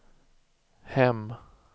hem